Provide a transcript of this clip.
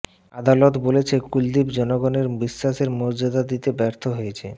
আদালত বলেছে কুলদীপ জনগণের বিশ্বাসের মর্যাদা দিতে ব্যর্থ হয়েছে